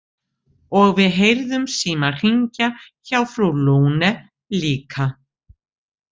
Og við heyrðum símann hringja hjá frú Lune líka.